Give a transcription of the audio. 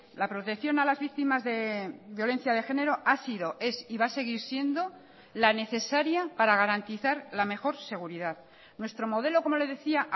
la protección a las víctimas de violencia de género ha sido es y va a seguir siendo la necesaria para garantizar la mejor seguridad nuestro modelo como le decía